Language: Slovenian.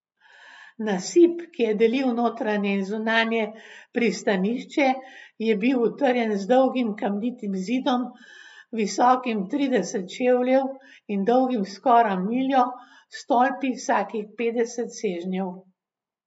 Nasip, ki je delil notranje in zunanje pristanišče, je bil utrjen z dolgim kamnitim zidom, visokim trideset čevljev in dolgim skoraj miljo, s stolpi vsakih petdeset sežnjev.